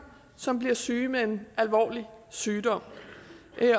som bliver syge med en alvorlig sygdom